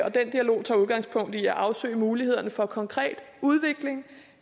dialog tager udgangspunkt i at afsøge mulighederne for konkret udvikling